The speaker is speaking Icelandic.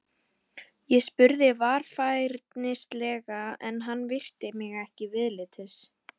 Ég spurði varfærnislega en hann virti mig ekki viðlits.